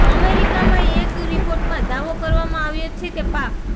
અમેરિકાનાં એક રિપોર્ટમાં દાવો કરવામાં આવ્યો છે કે પાક